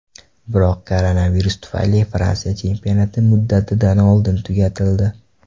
Biroq koronavirus tufayli Fransiya chempionati muddatidan oldin tugatildi.